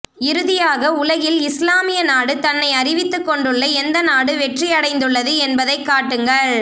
இறுதியாக உலகில் இஸ்லாமிய நாடு தன்னை அறிவித்துக் கொண்டுள்ள எந்த நாடு வெற்றி அடைந்துள்ளது என்பதைக் காட்டுங்கள்